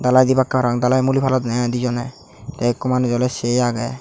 dalai debakke parapang dalai muli padonde i dejone te ekko manuje ole se agey.